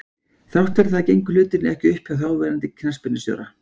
Þrátt fyrir það gengu hlutirnir ekki upp hjá þáverandi knattspyrnustjóra.